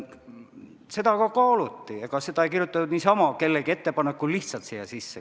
Seda kaaluti, ega seda ei kirjutatud niisama kellegi ettepanekul lihtsalt siia sisse.